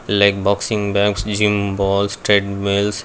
like boxing bags balls treadmills.